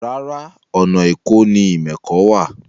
Rárá, ọ̀nà èkó ni ìmẹ̀kọ wà